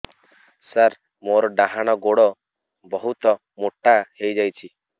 ସାର ମୋର ଡାହାଣ ଗୋଡୋ ବହୁତ ମୋଟା ହେଇଯାଇଛି